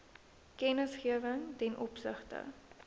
kennisgewing ten opsigte